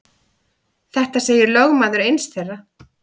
Þetta segir lögmaður eins þeirra.